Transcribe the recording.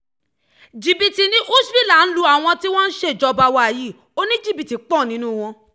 jìbìtì ni húshhvilă ń lu àwọn tí wọ́n sì ń ṣèjọba wa yìí oníjìbìtì pọ̀ nínú wọn